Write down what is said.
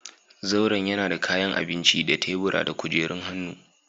Zauren yana da kayan abinci da tebura da kujerun hannu.